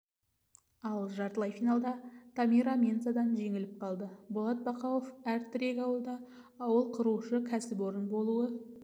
ал жартылай финалда тамира менсадан жеңіліп қалды болат бақауов әр тірек ауылда ауыл құрушы кәсіпорын болуы